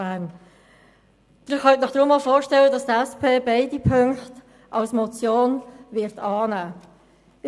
Sie können sich daher vorstellen, dass die SP beide Ziffern als Motion annehmen wird.